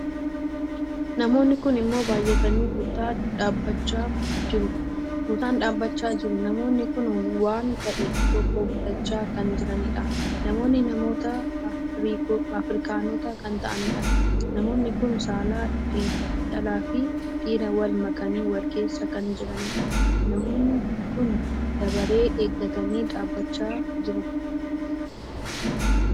Namoonni kun immoo baay'atanii tuutaan dhaabbachaa jiru. namoonni kun waan tahe tokko bitachaa kan jiraniidha. namoonni namoota afirkanoota kan taa'aniidha. namoonni kun saala dhala fi dhiiraa Wal makanii Wal keessa kan jiraniidha. namoonni kun dabaree eeggatanii dhaabbachaa jiru.